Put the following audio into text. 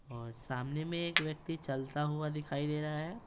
और सामने में एक व्यक्ति चलता हुआ दिखाई दे रहा है।